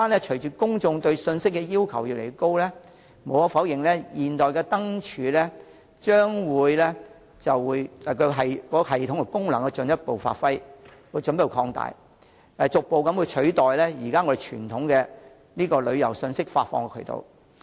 隨着公眾對信息要求越來越高，無可否認，現代化的智慧燈柱憑功能的進一步提升，將逐步取代傳統的旅遊信息發放渠道。